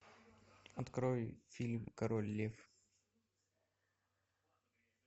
открой фильм король лев